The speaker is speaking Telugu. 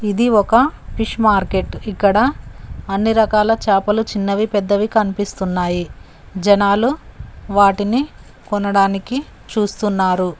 ఇది ఒక ఫిష్ మార్కెట్ ఇక్కడ అన్ని రకాల చేపలు చిన్నవి పెద్దవి కనిపిస్తున్నాయి జనాలు వాటిని కొనడానికి చూస్తున్నారు.